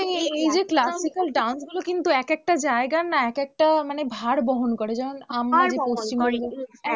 এই এই যে classical dance গুলো কিন্তু এক একটা জায়গার না এক একটা মানে ভার বহন করে যেমন ভার বহন করে যেমন আমরা পশ্চিমবঙ্গের মধ্যে থাকি, আমাদের আমাদের এইগুলো যদি আমরা বিলুপ্ত করে দিই তাহলে আমাদের